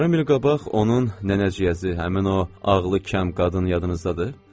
Yarım il qabaq onun nənəciyəzi, həmin o ağlı kəm qadın yadınızdadır?